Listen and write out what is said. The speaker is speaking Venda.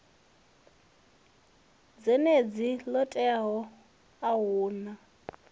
dzhendedzi ḽo teaho a huna